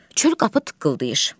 Çöl qapı tıqqıldayır.